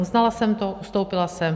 Uznala jsem to, ustoupila jsem.